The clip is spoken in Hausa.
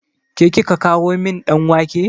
Ke kika kawo min ɗan wake?